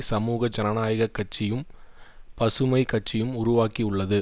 சமூக ஜனநாயக கட்சியும் பசுமை கட்சியும் உருவாக்கியுள்ளது